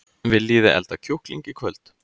Viljiði elda kjúkling í kvöld?